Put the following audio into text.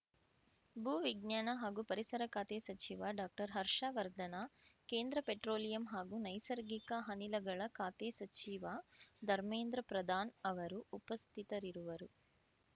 ಭೂವಿಜ್ಞಾನ ಹಾಗೂ ಪರಿಸರ ಖಾತೆ ಸಚಿವ ಡಾಕ್ಟರ್ ಹರ್ಷವರ್ಧನ ಕೇಂದ್ರ ಪೆಟ್ರೋಲಿಯಂ ಹಾಗೂ ನೈಸರ್ಗಿಕ ಅನಿಲಗಳ ಖಾತೆ ಸಚಿವ ಧಮೇಂದ್ರ ಪ್ರಧಾನ್‌ ಅವರು ಉಪಸ್ಥಿತರಿರುವರು